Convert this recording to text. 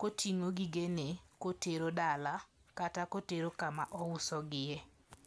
koting'o gigene kotero dala kata kotero kama ouso gie.